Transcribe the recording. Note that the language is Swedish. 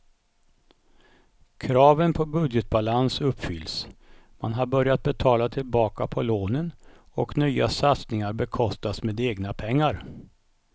Kraven på budgetbalans uppfylls, man har börjat betala tillbaka på lånen och nya satsningar bekostas med egna pengar.